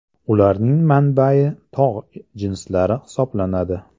Ularning manbai tog‘ jinslari hisoblanadi.